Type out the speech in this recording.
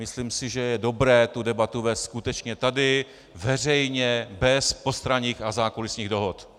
Myslím si, že je dobré tu debatu vést skutečně tady veřejně bez postranních a zákulisních dohod.